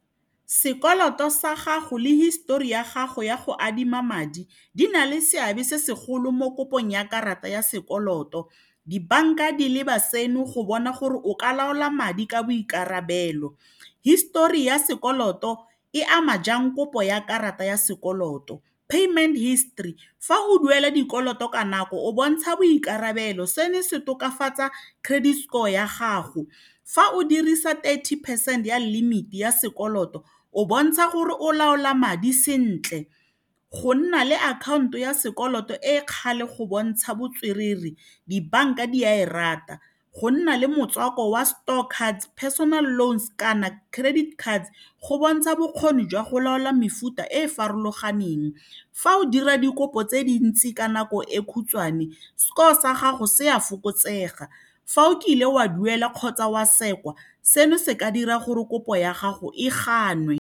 Sekoloto sa gago le histori ya gago ya go adima madi di na le seabe se segolo mo kopong ya karata ya sekoloto dibanka di leba seno go bona gore o ka laola madi ka boikarabelo histori ya sekoloto e ama jang kopo ya karata ya sekoloto payment history fa o duela dikoloto ka nako o bontsha boikarabelo seno se tokafatsa credit score ya gago fa o dirisa thirty percent ya limit-i ya sekoloto o bontsha gore o laola madi sentle go nna le akhaonto ya sekoloto e kgale go bontsha botswerere dibanka di a e rata go nna le motswako wa store cards, personal loans, kana credit cards go bontsha bokgoni jwa go laola mefuta e e farologaneng fa o dira dikopo tse dintsi ka nako e khutshwane score sa gago se a fokotsega fa o kile wa duela kgotsa wa sekwa seno se ka dira gore kopo ya gago e ganwe.